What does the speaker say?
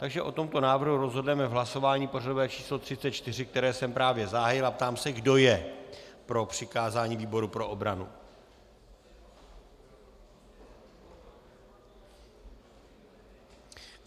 Takže o tomto návrhu rozhodneme v hlasování pořadové číslo 34, které jsem právě zahájil, a ptám se, kdo je pro přikázání výboru pro obranu.